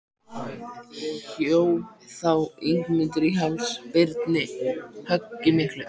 Hjó þá Ingimundur á háls Birni höggi miklu.